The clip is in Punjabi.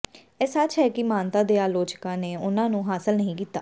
ਇਹ ਸੱਚ ਹੈ ਕਿ ਮਾਨਤਾ ਦੇ ਆਲੋਚਕਾਂ ਨੇ ਉਨ੍ਹਾਂ ਨੂੰ ਹਾਸਲ ਨਹੀਂ ਕੀਤਾ